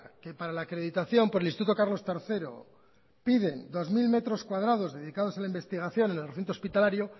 que para la acreditación por el instituto carlos tercero piden dos mil metros cuadrado dedicados a la investigación en el recinto hospitalario